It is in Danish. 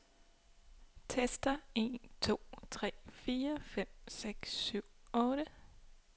Tester en to tre fire fem seks syv otte.